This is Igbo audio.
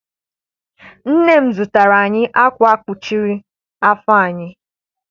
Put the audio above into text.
Nne m zụtara anyị akwa kpuchiri afọ anyị.